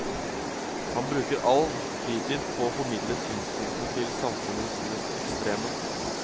Han bruker all fritid på å formidle synspunktene til samfunnets mest ekstreme.